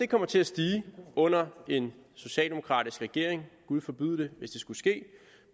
kommer til at stige under en socialdemokratisk regering gud forbyde